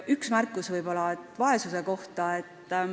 Üks märkus vaesuse kohta.